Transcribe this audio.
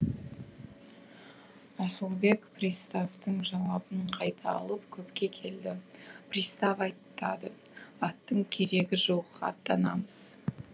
асылбек приставтың жауабын қайта алып көпке келді пристав айтады аттың керегі жоқ аттанамыз